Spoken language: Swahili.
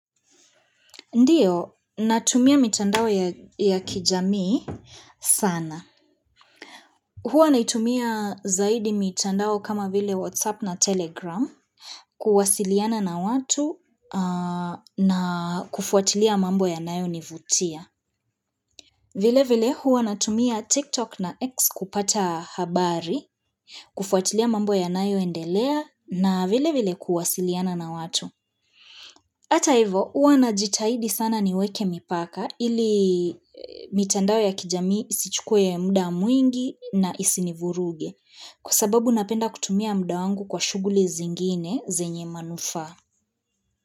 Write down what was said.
Ndiyo, natumia mitandao ya kijamii sana. Huwa naitumia zaidi mitandao kama vile Whatsapp na Telegram, kuwasiliana na watu na kufuatilia mambo yanayo nivutia. Vile vile, huwa natumia TikTok na X kupata habari, kufuatilia mambo ya nayo endelea na vile vile kuwasiliana na watu. Ata ivo, huwa na jitahidi sana niweke mipaka, ili mitandao ya kijami isichukue muda mwingi na isinivuruge kwa sababu napenda kutumia muda wangu kwa shughuli zingine zenye manufaa.